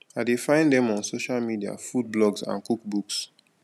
i dey find dem on social media food blogs and cook books